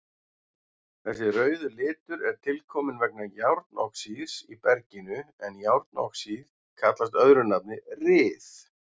Þessi rauði litur er tilkominn vegna járnoxíðs í berginu en járnoxíð kallast öðru nafni ryð.